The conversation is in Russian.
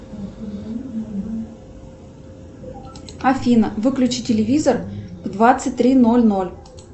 афина выключи телевизор в двадцать три ноль ноль